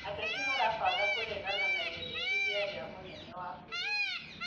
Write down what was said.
Ateti marabanga kũregana na rĩendekithia rĩa mũnene wa bũrũri